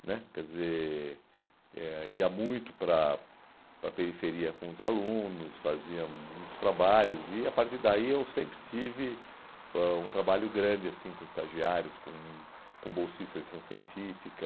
né quer dizer, eh ia muito para para a periferia com os alunos, fazia muitos trabalhos e a partir daí eu sempre tive ãh um trabalho grande assim com estagiários, com com bolsistas de iniciação científica.